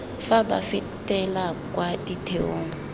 fa ba fetela kwa ditheong